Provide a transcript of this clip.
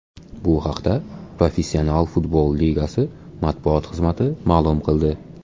Bu haqda Professional futbol Ligasi matbuot xizmati ma’lum qildi .